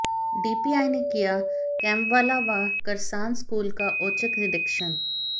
DPI ने किया कैम्बवाला व करसान स्कूल का औचक निरीक्षण